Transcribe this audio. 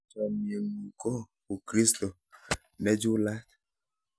chamiet ng'un ko u koristo nechulat